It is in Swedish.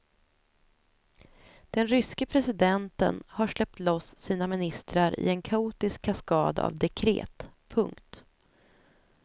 Den ryske presidenten har släppt loss sina ministrar i en kaotisk kaskad av dekret. punkt